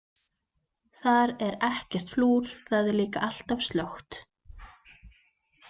Þar er ekkert flúr, þar er líka alltaf slökkt.